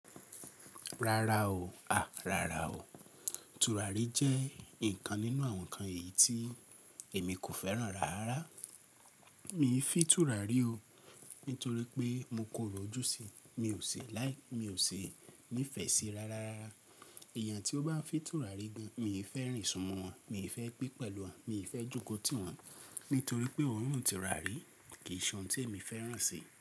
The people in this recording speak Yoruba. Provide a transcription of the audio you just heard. Rárá o, à Rárá o. Turari jẹ́ nǹkan nínú àwọn ǹkan èyí tí èmi kò fẹ́ràn rárá. Mi ò fi Turari o, nítorí pé mo kòro ojú síi, mi ò ṣe láì, mi ò ṣi, mi oo si nifẹ́ ṣi rárá. Èèyàn tí ó bá fi Turari gan, mi ò fẹ́ rìn sunmọ́ wọn, mi ò fẹ́ gbé pẹ̀lú wọn, mi ò fẹ́ jókòó tì wọn, nítorí pé òórùn Turari kì í ṣe ohun tí èmi fẹ́ràn si.